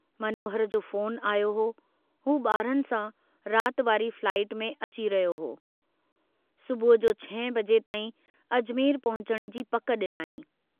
मनोहर जो फ़ोन आयो हो, हू बारनि सां रात वारी फ्लाईट में अची रहियो हो, सुबुह जो छहें बजे ताईं अजमेर पहुचण जी पक डिनाईं।